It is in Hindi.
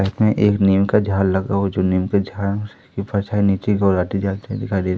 इसमें एक नीम का झाड़ लगाओ जो नीम का झड़ने की जाते हैं दिखाइए--